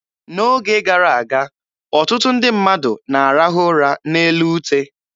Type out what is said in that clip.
N'oge gara aga, ọtụtụ ndị mmadụ na-arahụ ụra n'elu ute.